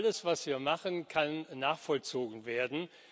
Alles, was wir machen, kann nachvollzogen werden.